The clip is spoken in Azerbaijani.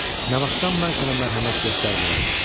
"Nə vaxtdan mən sənə mərhəmət göstərmirəm?"